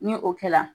Ni o kɛla